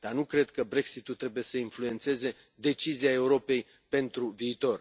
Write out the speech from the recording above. Dar nu cred că Brexit ul trebuie să influențeze decizia Europei pentru viitor.